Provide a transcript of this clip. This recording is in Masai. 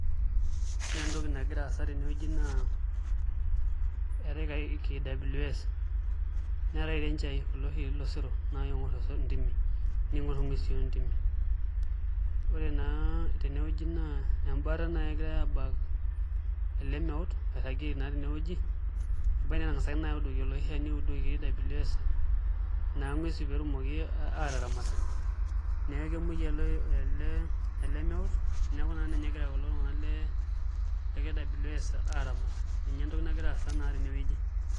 Ore entoki nagira aasa tenewueji naa eetai KWS neetai irenjai kulo oshi losero naa oingorr intimi niinyorr nguesi ontimi ore naa tenewueji naa embaata naai egirai aabak ele meut oirragieki naa tenewueji ebaiki netang'asaki naai audoki oloshi shani ongasae audoki KWS naa nguesi pee etumoki aataramat, neeku kemuoi naa ele meut neeku naa ninye egira kulo tung'anak le KWS